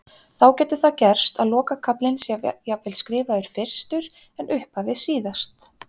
Þá getur það gerst að lokakaflinn sé jafnvel skrifaður fyrstur en upphafið síðast.